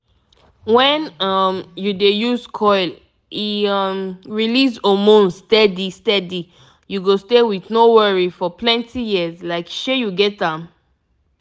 wen um u dey use coil e um release hormones steady steady u go stay with no worry for plenty years like shey u get am